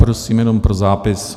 Prosím jenom pro zápis.